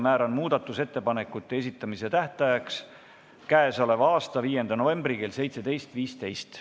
Määran muudatusettepanekute esitamise tähtajaks k.a 5. novembri kell 17.15.